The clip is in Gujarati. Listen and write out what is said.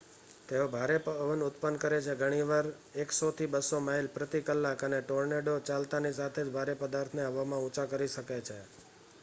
તેઓ ભારે પવન ઉત્પન્ન કરે છે ઘણીવાર 100-200 માઇલ/કલાક અને ટોર્નેડો ચાલતાંની સાથે જ ભારે પદાર્થોને હવામાં ઉંચા કરી શકે છે